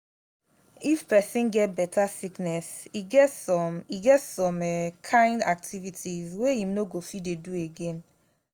if person get better sickness e get some e get some um kind activities wey im no go fit dey do again